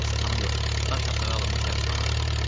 Xəstəxana yox, daş hasarı alınmış həbsxanadır.